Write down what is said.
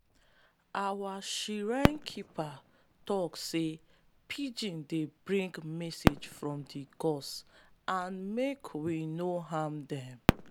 our shrine keeper tok say pigeons dey bring message from di gods and make we no harm them.